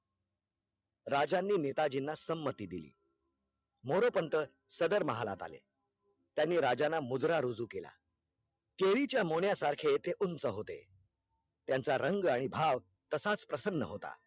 राजांनी नेतांजी ना संमती दिली मोरेपंथ सदर महालात आले, त्यांनी राजा ला मुजरा रुजू केला, चेरीच्या मोन्या सारखे ते उंच होते, त्यांचा रंग आणि भाव तसाच प्रसन्न होता